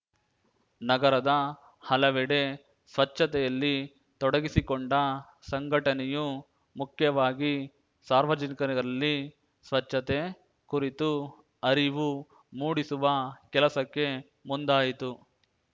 ನಗರದ ಹಲವೆಡೆ ಸ್ವಚ್ಛತೆಯಲ್ಲಿ ತೊಡಗಿಸಿಕೊಂಡ ಸಂಘಟನೆಯು ಮುಖ್ಯವಾಗಿ ಸಾರ್ವಜನಿಕರಲ್ಲಿ ಸ್ವಚ್ಛತೆ ಕುರಿತು ಅರಿವು ಮೂಡಿಸುವ ಕೆಲಸಕ್ಕೆ ಮುಂದಾಯಿತು